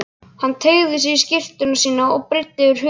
Hann teygði sig í skyrtuna sína og breiddi yfir höfuð.